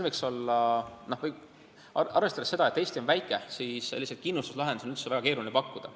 Arvestades seda, et Eesti on väike, on selliseid kindlustuslahendusi üldse väga keeruline pakkuda.